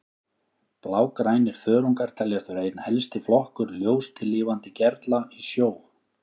Blágrænir þörungar teljast vera einn helsti flokkur ljóstillífandi gerla í sjó.